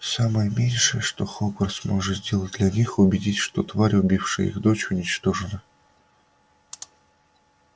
самое меньшее что хогвартс может сделать для них убедить что тварь убившая их дочь уничтожена